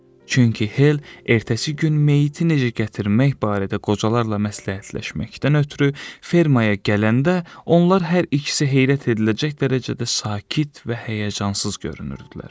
Çünki Hel ertəsi gün meyiti necə gətirmək barədə qocalarla məsləhətləşməkdən ötrü fermaya gələndə, onlar hər ikisi heyrət ediləcək dərəcədə sakit və həyəcansız görünürdülər.